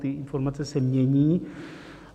Ty informace se mění.